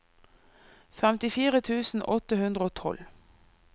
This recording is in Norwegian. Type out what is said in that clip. femtifire tusen åtte hundre og tolv